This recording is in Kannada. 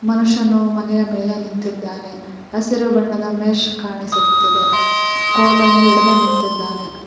ಮನುಷ್ಯನು ಮನೆಯ ಮೇಲೆ ನಿಂತಿದ್ದಾನೆ ಹಸಿರು ಬಣ್ಣದ ಮೆಶ್ ಕಾಣಿಸುತ್ತಿದೆ ಕೋಲನ್ನು ಹಿಡಿದು ನಿಂತಿದ್ದಾನೆ.